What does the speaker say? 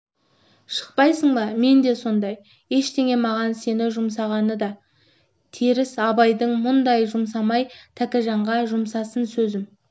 шықпайсың мен де сондай ендеше маған сені жұмсағаны да теріс абайдың мұнда жұмсамай тәкежанға жұмсасын сөзім